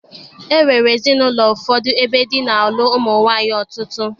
E nwere ezinaụlọ ụfọdụ ebe di na-alụ ụmụ nwaanyị ọtụtụ.